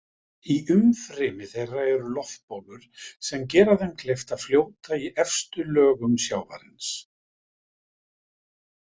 Í umfrymi þeirra eru loftbólur sem gera þeim kleift að fljóta í efstu lögum sjávarins.